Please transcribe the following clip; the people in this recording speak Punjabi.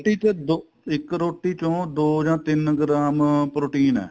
ਰੋਟੀ ਚ ਦੋ ਇੱਕ ਰੋਟੀ ਚੋ ਦੋ ਜਾਂ ਤਿੰਨ ਗ੍ਰਾਮ protein ਏ